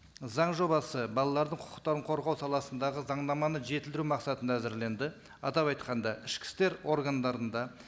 заң жобасы балалардың құқытарын қорғау саласындағы заңнаманы жетілдіру мақсатында әзірленді атап айтқанда ішкі істер органдарында